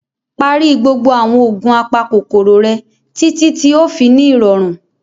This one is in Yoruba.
Pari gbogbo awọn oogun apakokoro rẹ, titi ti o fi ni irọrun.